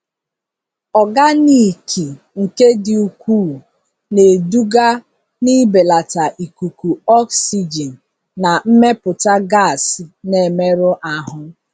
Ọganiki nke dị ukwuu na-eduga n'ibelata ikuku oxygen na mmepụta gas na-emerụ ahụ.